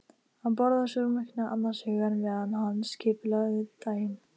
Hann borðaði súrmjólkina annars hugar meðan hann skipulagði daginn.